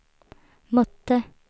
mötte